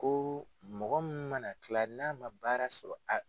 Ko mɔgɔ min mana kila n'a ma baara sɔrɔ a